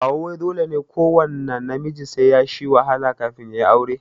Kawu wai dole ne kuwanna namiji sai yashi wahala kafin yayi aure?